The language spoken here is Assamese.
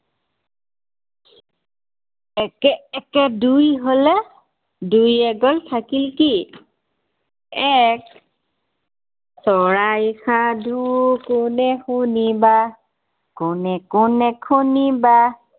একে একে দুই হলে, দুইৰ এক গল থাকিল কি? এক চৰাইৰ সাধু কোনে শুনিবা। কোনে কোনে শুনিবা